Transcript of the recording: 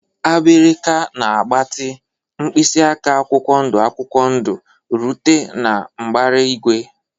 Abirika na-agbatị, mkpịsị aka akwụkwọ ndụ akwụkwọ ndụ rute na mbara igwe.